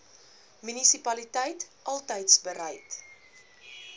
munisipaliteit altys bereid